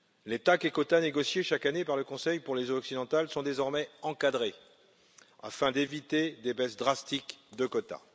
Les TAC et quotas négociés chaque année par le Conseil pour les eaux occidentales sont désormais encadrés afin d'éviter des baisses drastiques de quotas.